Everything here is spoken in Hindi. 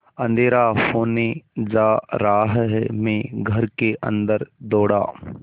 अँधेरा होने जा रहा है मैं घर के अन्दर दौड़ा